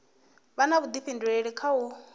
vha na vhudifhinduleli kha u